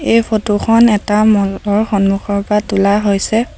এই ফটো খন এটা ম'ল ৰ সন্মুখৰ পৰা তোলা হৈছে।